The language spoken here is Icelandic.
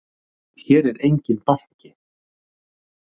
Hér er enginn banki!